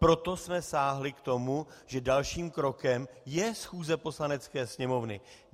Proto jsme sáhli k tomu, že dalším krokem je schůze Poslanecké sněmovny.